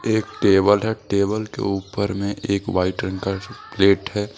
एक टेबल है। टेबल के उपर में एक वाइट रंग का प्लेट है।